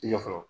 I ɲɛ fɔlɔ